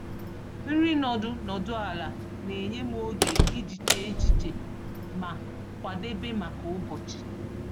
Nri nọdụ nọdụ ala na-enye m oge iji chee echiche ma kwadebe maka ụbọchị.